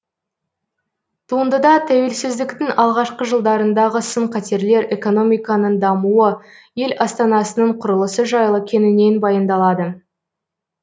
туындыда тәуелсіздіктің алғашқы жылдарындағы сын қатерлер экономиканың дамуы ел астанасының құрылысы жайлы кеңінен баяндалады